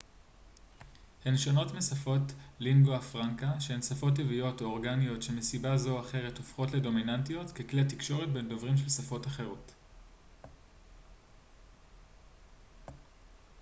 הן שונות משפות לינגואה פרנקה שהן שפות טבעיות או אורגניות שמסיבה זו או אחרת הופכות לדומיננטיות ככלי תקשורת בין דוברים של שפות אחרות